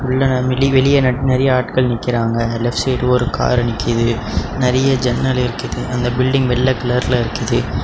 வெளிய வெளிய நறிய ஆட்கள் நிக்கிறாங்க லெப்ட் சைடு ஒரு கார் நிக்குது நறிய ஜன்னல் இருக்கிது அந்த பில்டிங் வெள்ள கலர்ல இருக்கிது.